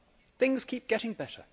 Things keep getting better.